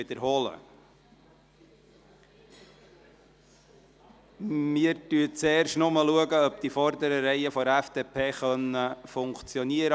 Zuerst schauen wir, ob es bei den zwei vorderen Reihen der FDP funktioniert.